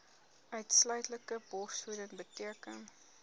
uitsluitlike borsvoeding beteken